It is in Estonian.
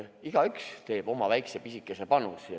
Igaüks annab oma väikese, pisikese panuse.